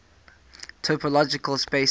topological spaces